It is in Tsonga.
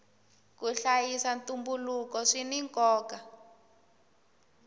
ku hlayisa ntumbuluko swina nkoka